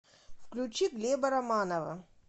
включи глеба романова